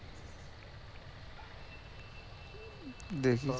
দেখি